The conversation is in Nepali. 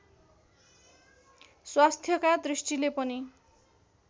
स्वास्थ्यका दृष्टिले पनि